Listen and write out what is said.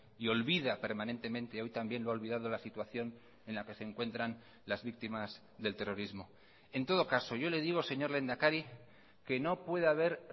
y olvida permanentemente hoy también lo ha olvidado la situación en la que se encuentran las víctimas del terrorismo en todo caso yo le digo señor lehendakari que no puede haber